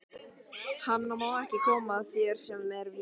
Hann má ekki koma þar sem er vín.